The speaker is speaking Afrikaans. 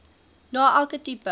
na elke tipe